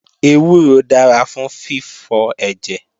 Ewúro dára fún fífọ ẹ̀jẹ̀